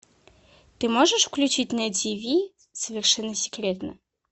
ты можешь включить на тиви совершенно секретно